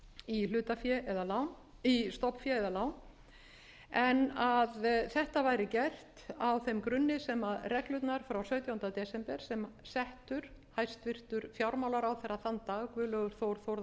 í stofnfé eða lán en að þetta væri gert á þeim grunni sem reglurnar frá sautjándu desember sem settur hæstvirtur fjármálaráðherra þann dag guðlaugur þór þórðarson ritaði undir